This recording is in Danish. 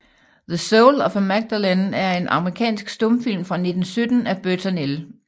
The Soul of a Magdalen er en amerikansk stumfilm fra 1917 af Burton L